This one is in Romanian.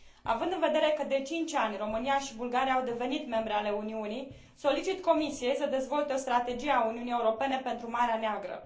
Având în vedere că, de 5 ani, România și Bulgaria au devenit membre ale Uniunii, solicit Comisiei să dezvolte strategia Uniunii Europene pentru Marea Neagră.